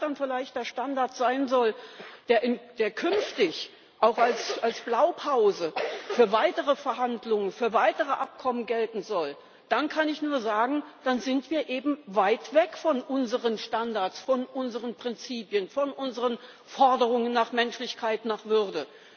Und wenn das dann vielleicht der Standard sein soll, der künftig auch als Blaupause für weitere Verhandlungen, für weitere Abkommen gelten soll, dann kann ich nur sagen Dann sind wir eben weit weg von unseren Standards, von unseren Prinzipien, von unseren Forderungen nach Menschlichkeit, nach Würde.